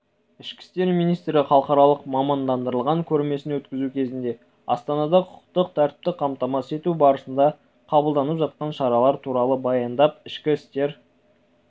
ішкі істер министрі халықаралық мамандандырылған көрмесін өткізу кезінде астанадағы құқықтық тәртіпті қамтамасыз ету барысында қабылданып жатқан шаралар туралы баяндап ішкі істер